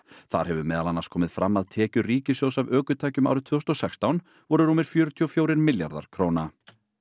þar hefur meðal annars komið fram að tekjur ríkissjóðs af ökutækjum árið tvö þúsund og sextán voru rúmir fjörutíu og fjórir milljarðar króna